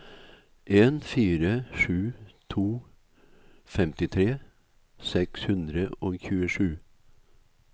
en fire sju to femtitre seks hundre og tjuesju